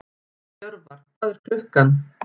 Jörvar, hvað er klukkan?